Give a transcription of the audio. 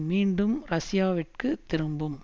மீண்டும் ரஷ்யாவிற்கு திரும்பும்